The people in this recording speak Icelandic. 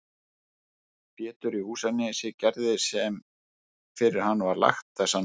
Pétur í Húsanesi gerði sem fyrir hann var lagt þessa nótt.